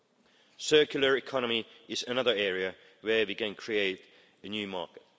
The circular economy is another area where we can create a new market.